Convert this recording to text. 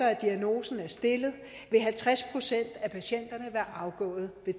at diagnosen er stillet vil halvtreds procent af patienterne være afgået ved